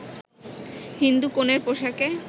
হিন্দু কনের পোশাকে